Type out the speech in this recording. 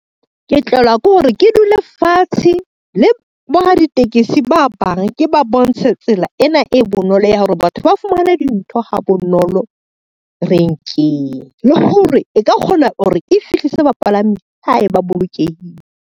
Ke tlelwa ke hore ke dule fatshe le boraditekesi ba bang ke ba bontshe tsela ena e bonolo ya hore batho ba fumane dintho ha bonolo renkeng, le hore e ka kgona hore e fihlise bapalami hae ba bolokehile.